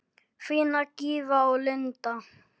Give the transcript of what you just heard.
Þínar Gyða og Linda.